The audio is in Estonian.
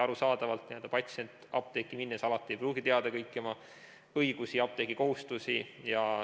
Arusaadavalt, patsient apteeki minnes ei pruugi alati teada kõiki oma õigusi ja apteegi kohustusi.